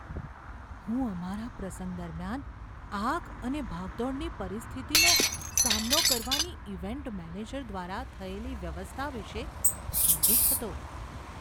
હું અમારા પ્રસંગ દરમિયાન આગ અને ભાગદોડની પરિસ્થિતિનો સામનો કરવાની ઇવેન્ટ મેનેજર દ્વારા થયેલી વ્યવસ્થા વિશે ચિંતિત હતો.